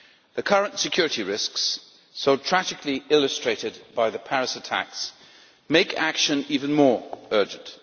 The current security risks, so tragically illustrated by the Paris attacks, make action even more urgent.